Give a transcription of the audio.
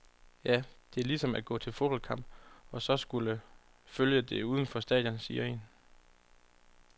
Ja, det er ligesom at gå til fodboldkamp og så skulle følge det uden for stadion, siger en.